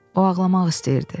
O ağlamaq istəyirdi.